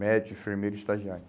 Médicos, enfermeiro, estagiário.